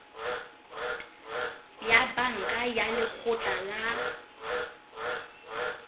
ya banka ya lekgotla la